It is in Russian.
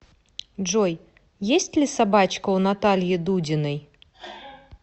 джой есть ли собачка у натальи дудиной